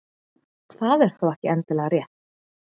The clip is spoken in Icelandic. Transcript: Það er þó ekki endilega rétt.